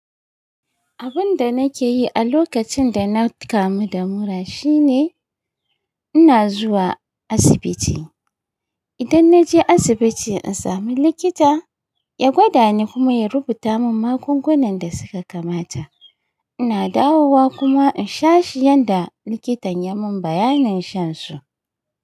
Abin da nake yi a lokacin da na kamu da mura shine ina zuwa asibiti. Idan na je asibiti in sami likita, ya gwada ni kuma ya rubuta min magungunan da suka kamata. Ina dawowa kuma in sha shi yanda likitan ya mun bayanin shan su.